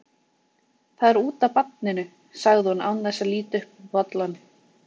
Það er út af barninu, sagði hún án þess að líta upp úr bollanum.